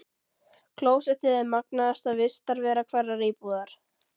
Klósettið er magnaðasta vistarvera hverrar íbúðar.